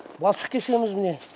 балшық кешеміз міне